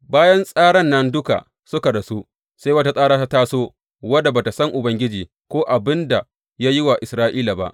Bayan tsaran nan duka suka rasu, sai wata tsara ta taso wadda ba tă san Ubangiji ko abin da ya yi wa Isra’ila ba.